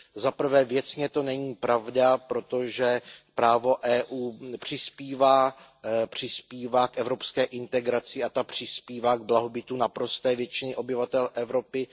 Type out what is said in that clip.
Za prvé, věcně to není pravda, protože právo Evropské unie přispívá k evropské integraci a ta přispívá k blahobytu naprosté většiny obyvatel Evropy.